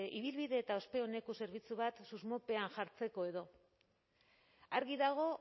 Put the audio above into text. ibilbide eta ospe oneko zerbitzu bat susmopean jartzeko edo argi dago